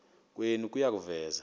kwenu kuya kuveza